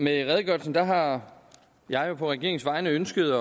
med redegørelsen har jeg jo på regeringens vegne ønsket